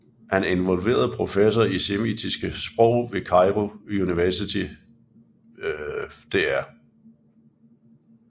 Han involverede professor i semitiske sprog ved Cairo University Dr